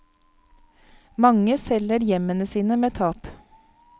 Mange selger hjemmene sine med tap.